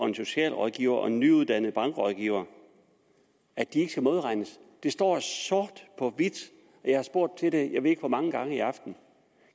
en socialrådgiver og en nyuddannet bankrådgiver at de ikke skal modregnes det står sort på hvidt jeg har spurgt til det jeg ved ikke hvor mange gange i aften